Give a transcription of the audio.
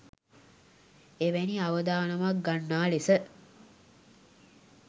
එවැනි අවදානමක් ගන්නා ලෙස